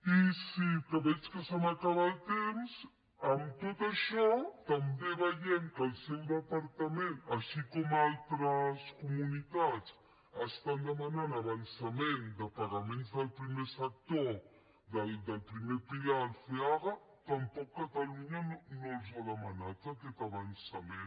i sí que veig que se m’acaba el temps amb tot això també veiem que el seu departament així com altres comunitats estan demanant l’avançament de pagaments del primer sector del primer pilar el feaga tampoc catalunya no l’ha demanat aquest avançament